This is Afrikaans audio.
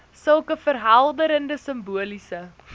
sulke verhelderende simboliese